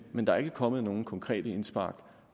men der er ikke kommet nogen konkrete indspark